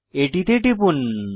এটিতে টিপুন